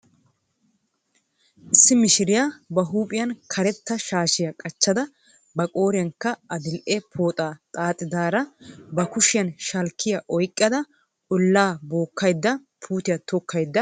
Issi mishiriya ba huuphiyan keretta shaashiya qachchada ba qooriyankka adi"e pooxaa xaaxidaara ba kushiyan shalkkiya oyqqada olaa bookada puutiya tokkaydda de"awus.